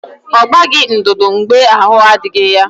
Ọ gbaghị ndụdụ mgbe ahụ adịghị ya